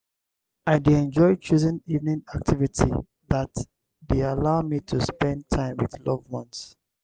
i dey enjoy choosing evening activity that dey allow me to spend time with loved ones.